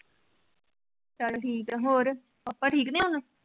ਚੱਲ ਠੀਕ ਆ, ਹੋਰ, ਪਾਪਾ ਠੀਕ ਨੇ ਹੁਣ?